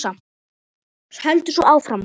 Heldur svo áfram